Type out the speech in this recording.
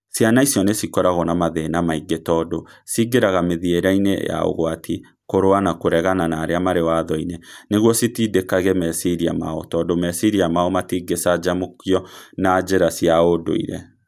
Ciana icio nĩ cikoragwo na mathĩna maingĩ, tondũ "ciingĩraga mĩthiĩre-inĩ ya ũgwati, kũrũa, na kũregana na arĩa marĩ watho-inĩ " nĩguo citindĩkage meciria mao, tondũ meciria mao matingĩcanjamũkio na njĩra cia ũndũire.